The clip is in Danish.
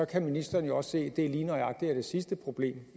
kan ministeren jo også se at det lige nøjagtig er det sidste problem